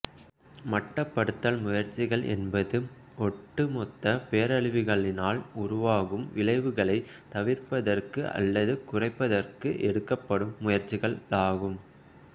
மட்டுப்படுத்தல் முயற்சிகள் என்பது ஒட்டுமொத்த பேரழிவுகளினால் உருவாகும் விளைவுளைத் தவிர்ப்பதற்கு அல்லது குறைப்பதற்கு எடுக்கப்படும் முயற்சிகளாகும்